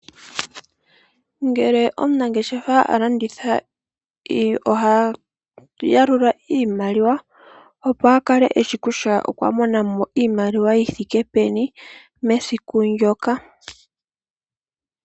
Ngele omunangeshefa alanditha oha yalula iimaliwa opo akale eshi kutya okwamona mo iimaliwa yithike peni mesiku ndyoka.